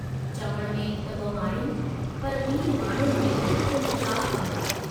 चवण में त ब॒ माड़ियूं पर बिन्हीं माड़ियुनि में कुल चार कमरा।